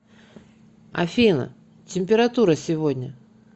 афина температура сегодня